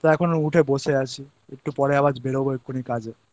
করলাম তা এখন উঠে বসে আছি একটু পরে আবার এখুনি বেরবো কাজে